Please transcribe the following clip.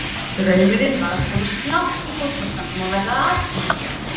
Draumurinn var að komast langt í fótboltanum og verða atvinnumaður.